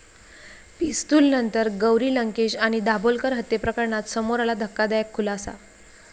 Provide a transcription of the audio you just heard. पिस्तूलनंतर गौरी लंकेश आणि दाभोलकर हत्येप्रकरणात समोर आला धक्कादायक खुलासा